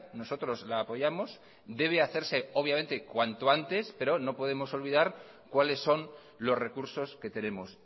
nosotros la apoyamos debe hacerse obviamente cuanto antes pero no podemos olvidar cuáles son los recursos que tenemos